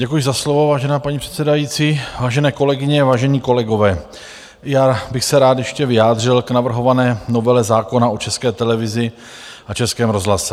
Děkuji za slovo, vážená paní předsedající, vážené kolegyně, vážení kolegové, já bych se rád ještě vyjádřil k navrhované novele zákona o České televizi a Českém rozhlase.